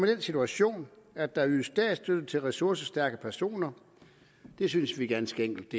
den situation at der ydes statsstøtte til ressourcestærke personer det synes vi ganske enkelt